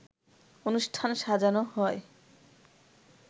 অনুষ্ঠান সাজানো হয়